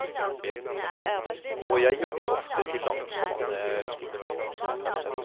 Og jeg jobber ofte til langt på natt.